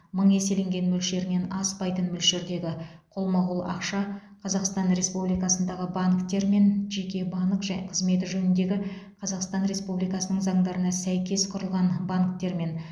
мың еселенген мөлшерінен аспайтын мөлшердегі қолма қол ақша қазақстан республикасындағы банктермен жеке банк қызметі жөніндегі қазақстан республикасының заңдарына сәйкес құрылған банктермен